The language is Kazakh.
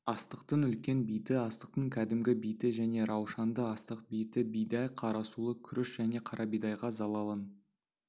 астықтың үлкен биті астықтың кәдімгі биті және раушанды-астық биті бидай қарасұлы күріш және қара бидайға залалын